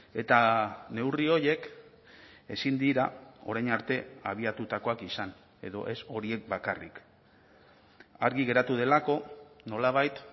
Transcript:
eta neurri horiek ezin dira orain arte abiatutakoak izan edo ez horiek bakarrik argi geratu delako nolabait